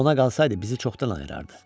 Ona qalsaydı bizi çoxdan ayırardı.